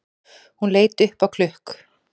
Hún leit upp á klukk